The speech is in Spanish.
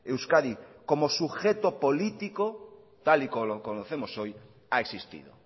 euskadi como sujeto político tal y como lo conocemos hoy ha existido